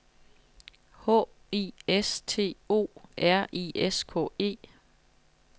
H I S T O R I S K E